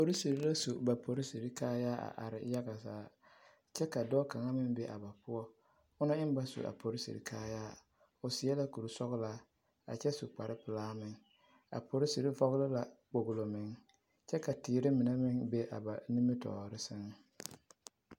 Polisiri la su ba polisiri kaayaa a are kyɛ ka dɔɔ kaŋ meŋ be a ba poɔ a dɔɔ eŋ ba su a polisiri kaayaa o seɛ la kursɔɡelaa kyɛ su kparpelaa a polisiri vɔɡele la kpoɡelo meŋ kyɛ ka teere mine be a ba nimitɔɔre sɛŋ.